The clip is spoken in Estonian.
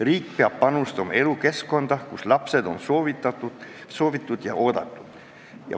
Riik peab panustama elukeskkonda, kus lapsed on soovitud ja oodatud.